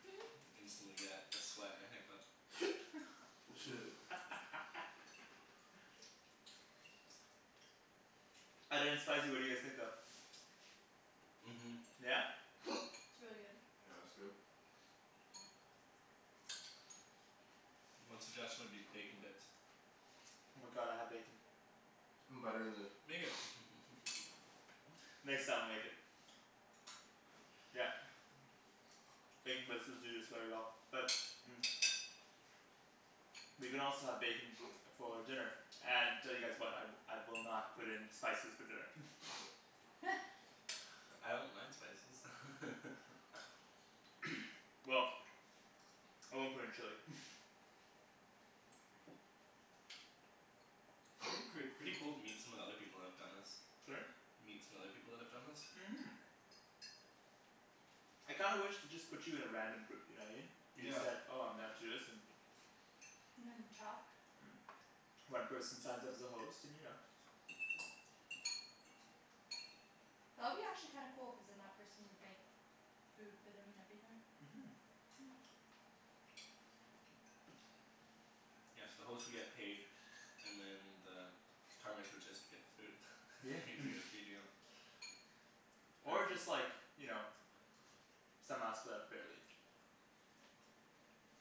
Instantly get a sweat and a hiccup. Shit. Other than spicy what do you guys think though? Mhm. Yeah? It's really good. Yeah it's good. One suggestion would be bacon bits. Oh my god, I have bacon. Butter in the Make it Next time I'll make it. Yeah. Bacon bits would do this very well but We can also have bacon for dinner and tell you guys what, I I will not put in spices for dinner I don't mind spices Well I won't put in chili It'd be pret- pretty cool to meet some of the other people that have done this. Sorry? Meet some other people that have done this? Mhm. I kinda wish they just put you in a random group, you know what I mean? You just Yeah. said "oh I'm down to do this" and talk One person signs up as a host and you know That would be actually kinda cool cuz then that person would make food for them and everything. Mhm. Hmm Yeah so the host would get paid and then the would just get the food. Yeah Not even gonna feed you. Or just like you know somehow split up fairly.